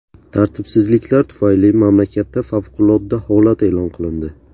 Tartibsizliklar tufayli mamlakatda favqulodda holat e’lon qilindi.